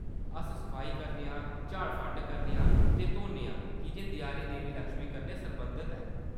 अस सफाई करने आं, झाड़-फंड करने आं ते धोन्ने आं कीजे देआली देवी लक्ष्मी कन्नै सरबंधत ऐ।